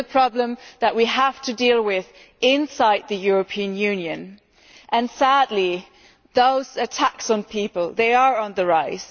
This is a problem that we have to deal with inside the European Union and, sadly, these attacks on people are on the rise.